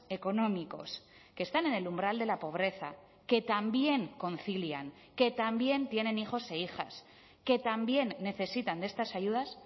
económicos que están en el umbral de la pobreza que también concilian que también tienen hijos e hijas que también necesitan de estas ayudas